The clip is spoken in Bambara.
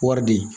Wari de